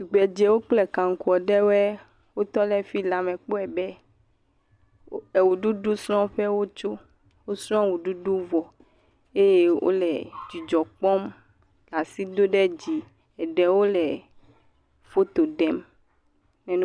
Tugbedzewo kple kanklo ɖewo tɔ ɖe fi la me kpɔe be eɣe ɖuɖu srɔ ƒe wotsɔ. Wò srɔ̃wɔɖudu vɔ eye wole dzidzɔ kpɔm le asi dom ɖe dzi. Eɖewo le foto ɖem.